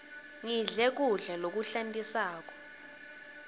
ngidle kudla lokuhlantisako